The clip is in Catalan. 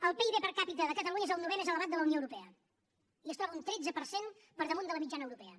el pib per capita de catalunya és el novè més elevat de la unió europea i es troba un tretze per cent per damunt de la mitjana europea